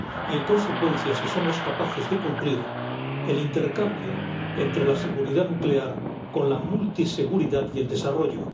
Y, en consecuencia, si somos capaces de cumplir el intercambio entre la seguridad nuclear con la multiseguridad y el desarrollo.